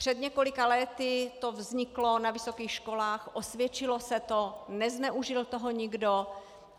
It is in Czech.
Před několika lety to vzniklo na vysokých školách, osvědčilo se to, nezneužil toho nikdo.